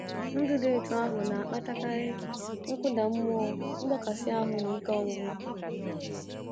Ndụ dị otu ahụ na-akpatakarị nkụda mmụọ, mgbakasị ahụ, na ike ọgwụgwụ.